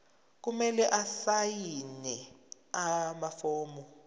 kumele asayine amafomu